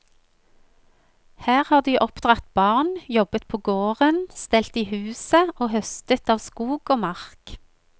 Her har de oppdratt barn, jobbet på gården, stelt i huset og høstet av skog og mark.